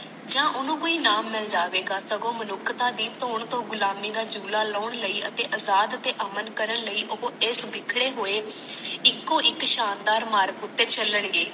ਜਾਂ ਇਨ ਨੂ ਇਨਾਮ ਮਿਲ ਜਾਵੇ ਗਾ ਸ਼ਗੂ ਮਹਾਗੁੱਤਾ ਦੀ ਥੋਨ ਤੋਂ ਗੁਲਾਮੀ ਦਾ ਚੂਲਾ ਲਾਣ ਲਈ ਅਤੇ ਅਜਾਦ ਤੇ ਅਮਲ ਕਰਨ ਲਈ ਉਹ ਇਸ ਵਿਖੜੇ ਹੋਈ ਏਕੋ ਇਕ ਸ਼ਾਨਦਾਰ ਮਾਰਕ ਉਤੇ ਚੱਲਣਗੇ